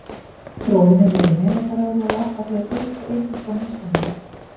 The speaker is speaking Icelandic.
Bróðir minn er í nemendaráði og labbar hér út og inn eins og honum sýnist.